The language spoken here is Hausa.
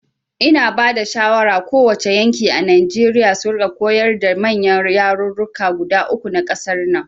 Ina bada shawara ko wace yanki a Nijeriya su rika koyarwa da manyan yarurruka guda uku na ƙasar nan